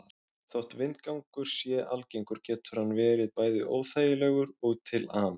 Þótt vindgangur sé algengur getur hann verið bæði óþægilegur og til ama.